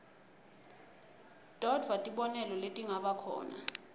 todvwa tibonelo letingabakhona